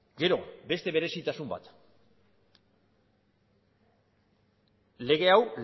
gero beste berezitasun bat lege hau